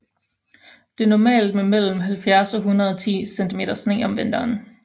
Det er normalt med mellem 70 og 110 cm sne om vinteren